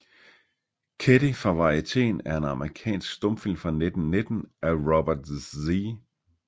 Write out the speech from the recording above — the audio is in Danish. Ketty fra Varieteen er en amerikansk stumfilm fra 1919 af Robert Z